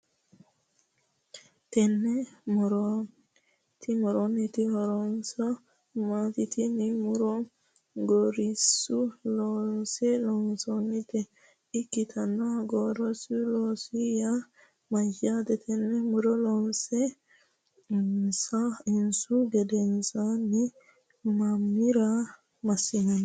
Tenne moronniti horose maati? Tinne muro gorsu loosinni loonsoonnita ikitanna gorsu looso yaa mayate? Tenne muro loonse iilinsu gedensaanni mamira masinanni?